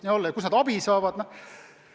Ja kust nad abi saavad?